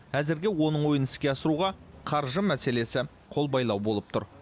әзірге оның ойын іске асыруға қаржы мәселесі қолбайлау болып тұр